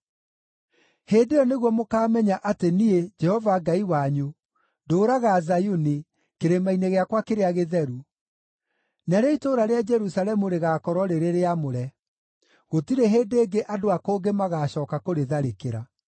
“Hĩndĩ ĩyo nĩguo mũkaamenya atĩ niĩ, Jehova Ngai wanyu, ndũũraga Zayuni, kĩrĩma-inĩ gĩakwa kĩrĩa gĩtheru. Narĩo itũũra rĩa Jerusalemu rĩgaakorwo rĩrĩ rĩamũre; gũtirĩ hĩndĩ ĩngĩ andũ a kũngĩ magaacooka kũrĩtharĩkĩra.